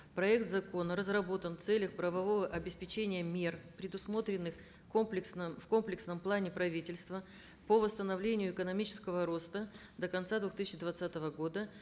проект закона разработан в целях правового обеспечения мер предусмотренных в комплексном плане правительства по восстановлению экономического роста до конца двух тысяча двадцатого года